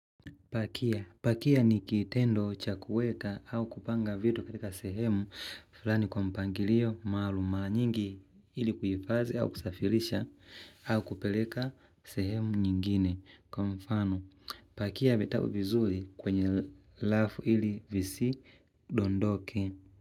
Pakia. Pakia ni kitendo cha kuweka au kupanga vitu katika sehemu fulani kwa mpangilio maalum mara nyingi ili kuhifadhi au kusafirisha au kupeleka sehemu nyingine. Kwa mfano, pakia vitabu vizuri kwenye rafu ili visidondoke.